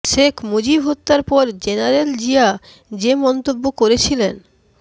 শেখ মুজিব হত্যার পর জেনারেল জিয়া যে মন্তব্য করেছিলেন